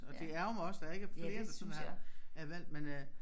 Og det ærgrer mig også der ikke er flere der sådan har er valgt men øh